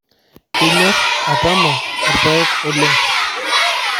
Inyor atama lpayeg oleng